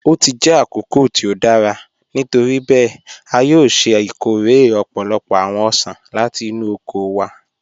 O ti jẹ́ àkókò tí o dára, nítoríbẹẹ̀, a yòò ṣẹ́ ikóre ọ̀pọ̀lọ́pọ̀ awọn ọṣan láti inú oko wa